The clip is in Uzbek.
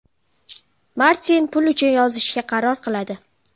Martin pul uchun yozishga qaror qiladi.